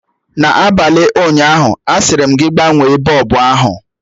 N'abalị ụnyaahụ, asịrị m gị gbanwee bọlbụ ahụ!